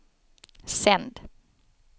sänd